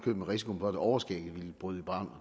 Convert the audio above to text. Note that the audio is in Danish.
med risikoen for at overskægget ville bryde i brand og